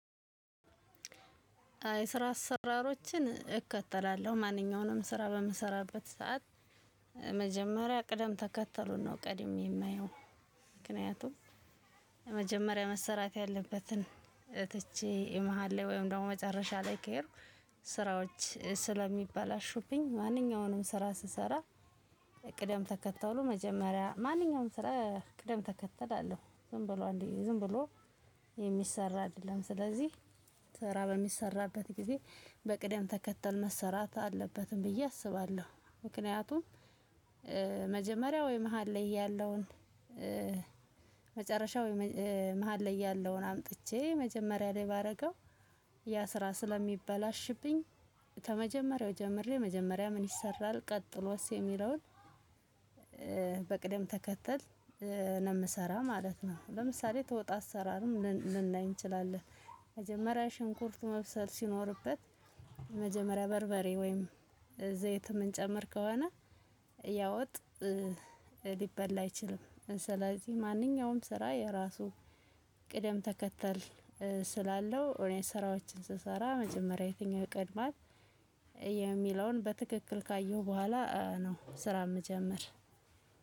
የስራ አሰራሮችን እከተላለሁ። ማንኛውንም ስራ በምሰራበት ሰዓት መጀመሪያ ቅደም ተከተሉን ነው ቀድሜ የማየው። ምክንያቱም መጀመሪያ መሰራት ያለበትን ትቼ የመሃል ላይ ወይም ደግሞ መጨረሻ ላይ ከሄድኩ ስራዎች ስለሚባላሹብኝ ማንኛውንም ስራ ስሰራ ቅደም ተከተሉ መጀመሪያ ማንኛውንም ስራ ቅደም ተከተል አለው። ዝም ብሎ እንዴ ዝም ብሎ የሚሰራ አይደለም። ስለዚህ ስራ በሚሰራበት ጊዜ በቅደም ተከተል መሰራት አለበት ብዬ አስባለሁ። ምክንያቱም መጀመሪያ ወይ መሃል ላይ ያለውን መጨረሻ ወይ መሃል ላይ ያለውን አምጥቼ መጀመሪያ ላይ ባረገው ያ ስራ ስለሚበላሽብኝ ከመጀመሪያው ጀምሬ መጀመሪያ ምን ይሰራል ቀጥሎስ የሚለውን በቅደም ተከተል ነው ምሰራ ማለት ነው። ለምሳሌ ተወጥ አሰራርም ልናይ እንችላለን። መጀመሪያ ሽንኩርት መብሰል ሲኖርበት የመጀመሪያ በርበሬ ወይም ዘይት የምንጨምር ከሆነ ያ ወጥ ሊበላ አይችልም። ስለዚህ ማንኛውም ስራ የራሱ ቅደም ተከተል ስላለው እኔ ስራዎችን ስሰራ መጀመሪያ የትኛው ይቀድማል የሚለውን በትክክል ካየሁ በኋላ ነው ስራ ምጀምር።